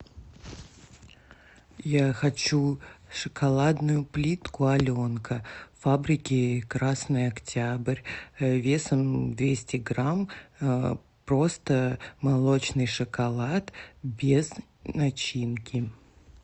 я хочу шоколадную плитку аленка фабрики красный октябрь весом двести грамм просто молочный шоколад без начинки